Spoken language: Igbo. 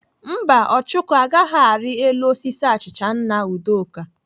Mba, Ọchụko agaghị ari elu osisi achicha nna Udoka?